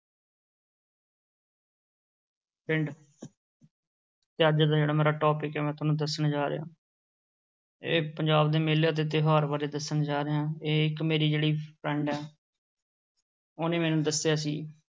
ਪਿੰਡ ਤੇ ਅੱਜ ਦਾ ਜਿਹੜਾ ਮੇਰਾ topic ਹੈ ਮੈਂ ਤੁਹਾਨੂੰ ਦੱਸਣ ਜਾ ਰਿਹਾਂ ਇਹ ਪੰਜਾਬ ਦੇ ਮੇਲੇ ਅਤੇ ਤਿਉਹਾਰ ਬਾਰੇ ਦੱਸਣ ਜਾ ਰਿਹਾਂ, ਇਹ ਇੱਕ ਮੇਰੀ ਜਿਹੜੀ friend ਹੈ ਉਹਨੇ ਮੈਨੂੰ ਦੱਸਿਆ ਸੀ।